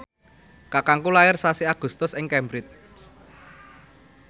kakangku lair sasi Agustus ing Cambridge